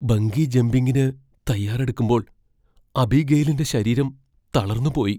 Bungee ജംമ്പിങ്ങിന് തയ്യാറെടുക്കുമ്പോൾ അബിഗെയിലിന്റെ ശരീരം തളർന്നുപോയി .